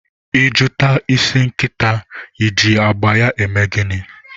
I jụta isi nkịta I ji agba ya eme gịnị?